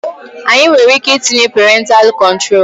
Anyị nwereike tinye perentalụ kọntrol